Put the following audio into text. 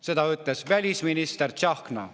Seda ütles välisminister Tsahkna.